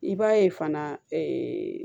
I b'a ye fana